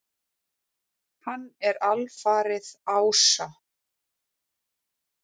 Hann er alfaðir ása.